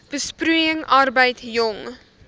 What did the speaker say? besproeiing arbeid jong